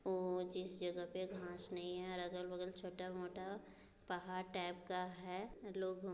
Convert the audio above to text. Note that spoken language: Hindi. जिस जगह पे घास नहीं है और अगल-बगल छोटा-मोटा पहाड़ टाइप का है लोगों को--